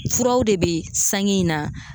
Furaw de bɛ sange in na.